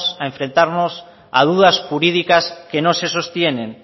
a enfrentarnos a dudas jurídicas que no se sostienen